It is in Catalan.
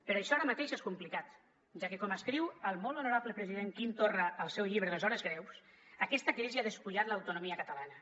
però això ara mateix és complicat ja que com escriu el molt honorable president quim torra al seu llibre les hores greus aquesta crisi ha despullat l’autonomia catalana